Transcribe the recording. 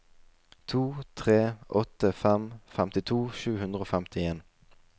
to tre åtte fem femtito sju hundre og femtien